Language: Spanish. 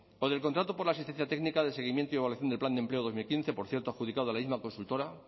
o del contrato por la asistencia técnica de seguimiento y evaluación del plan de empleo dos mil quince por cierto adjudicado a la misma consultora